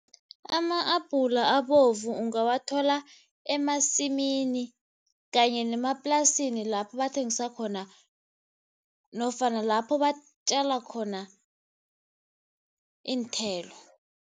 Ama-abhula abovu ungawathola emasimini kanye nemaplasini lapho bathengisa khona nofana lapho batjala khona iinthelo.